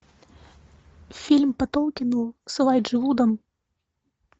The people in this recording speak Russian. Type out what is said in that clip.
фильм по толкину с элайджей вудом